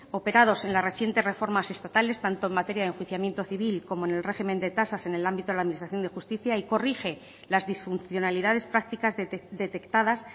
operados en las recientes reformas estatales tanto en materia de enjuiciamiento civil como en el régimen de tasas en el ámbito de la administración de justicia y corrige las disfuncionalidades practicas detectadas